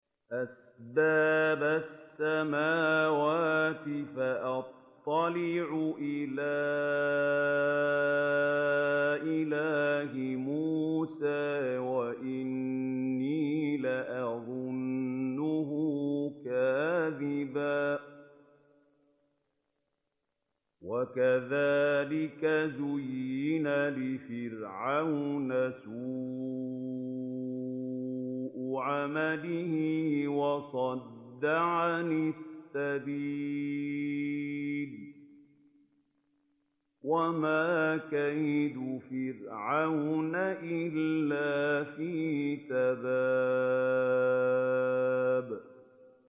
أَسْبَابَ السَّمَاوَاتِ فَأَطَّلِعَ إِلَىٰ إِلَٰهِ مُوسَىٰ وَإِنِّي لَأَظُنُّهُ كَاذِبًا ۚ وَكَذَٰلِكَ زُيِّنَ لِفِرْعَوْنَ سُوءُ عَمَلِهِ وَصُدَّ عَنِ السَّبِيلِ ۚ وَمَا كَيْدُ فِرْعَوْنَ إِلَّا فِي تَبَابٍ